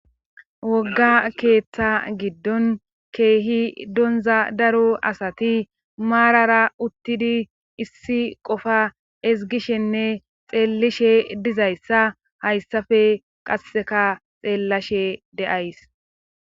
wogga keeththa giddon keehi donza daro asati maarara uttidi issi qofa ezgishenne xeellishe dizayssa hayssafe qasseka xeellashe de7ays